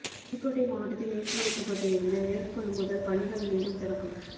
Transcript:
புதுக்கோட்டை மாவட்டத்தில் நிறுத்தி வைக்கப்பட்டு இருந்த நெல் கொள்முதல் பணிகள் மீண்டும் தொடக்கம்